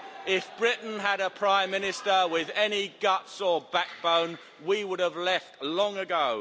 If Britain had a Prime Minister with any guts or backbone, we would have left long ago.